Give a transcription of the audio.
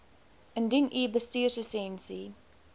indien u bestuurslisensie